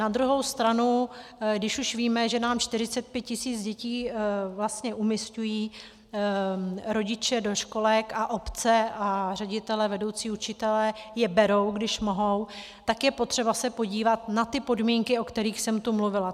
Na druhou stranu když už víme, že nám 45 tisíc dětí vlastně umísťují rodiče do školek a obce a ředitelé, vedoucí učitelé je berou, když mohou, tak je potřeba se podívat na ty podmínky, o kterých jsem tu mluvila.